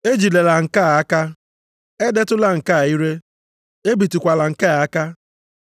“Ejidela nke a aka, edetụla nke a ire, ebitụkwala nke a aka”?